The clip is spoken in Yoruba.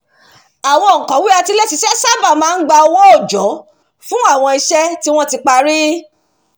àwọn òǹkọ̀wé atiléṣiṣẹ́ sáábà máa ń gba owó òòjọ́ fún àwọn iṣẹ́ tí wọ́n ti parí